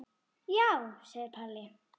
Já, segir Palli.